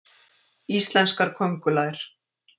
Íslenskar köngulær.